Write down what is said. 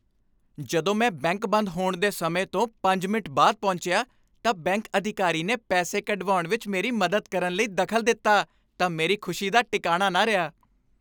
ਜਦੋਂ ਮੈਂ ਬੈਂਕ ਬੰਦ ਹੋਣ ਦੇ ਸਮੇਂ ਤੋਂ ਪੰਜ ਮਿੰਟ ਬਾਅਦ ਪਹੁੰਚਿਆ ਤਾਂ ਬੈਂਕ ਅਧਿਕਾਰੀ ਨੇ ਪੈਸੇ ਕਢਵਾਉਣ ਵਿੱਚ ਮੇਰੀ ਮਦਦ ਕਰਨ ਲਈ ਦਖ਼ਲ ਦਿੱਤਾ ਤਾਂ ਮੇਰੀ ਖ਼ੁਸ਼ੀ ਦਾ ਟਿਕਾਣਾ ਨਾ ਰਿਹਾ